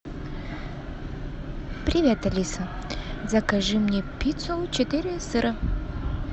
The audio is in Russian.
привет алиса закажи мне пиццу четыре сыра